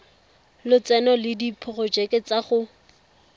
lotseno le diporojeke tsa go